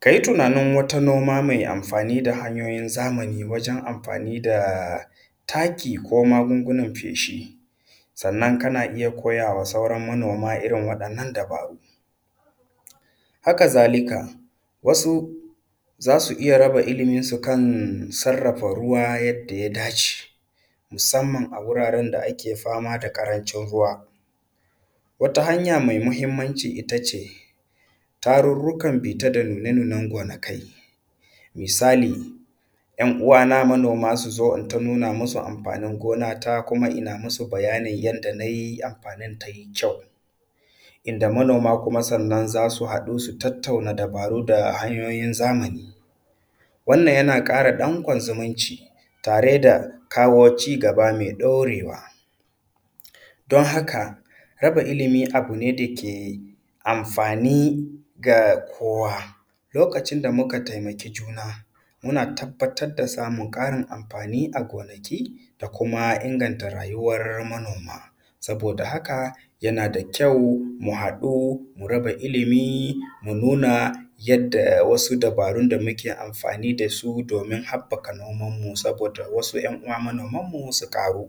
Ka yi tunanin wata noma mai amfani da hanyoyin zamani wajan amfani da taki, ko magungunan feshi, sannan kana iya koyawa sauran manoma irin waɗannan dabaru. Haka zalika wasu za su iya raba iliminsu kan sarrafa ruwa yanda ya dace, musamman a wuraren da ake fama da ƙarancin ruwa. Wata hanya mai muhimmanci ita ce, tarurrukan bita da nuna nunan gonakai, misali 'yan uwa na manoma su zo inta nuna musu amfanin gonata kuma ina musu bayani yanda na yi amfanin tai kyau. Inda manoma kuma sannan za su haɗu su tattauna dabaru da hanyoyin zamani. Wannan yana ƙara danƙon zumunci tare da kawo cigaba mai ɗorewa. Don haka raba ilimi abu ne da ke amfani ga kowa. Lokacin da muka taimaki juna muna tabbatar da samun ƙarin amfani a gonaki, da kuma inganta rayuwan manoma. Saboda haka yana da kyau mu haɗu mu raba ilimi, mu nuna yadda wasu dabaru da muke amfani da su domin haɓɓaka noman mu saboda wasu 'yan uwa manoman mu su ƙaru.